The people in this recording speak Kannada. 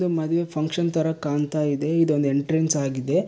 ಮದುವೆ ಫಂಕ್ಷನ್ ತರ ಕಾಣ್ತಾಯ್ದೆ ಇದೊಂದ್ ಎಂಟ್ರನ್ಸ್ ಆಗಿದೆ.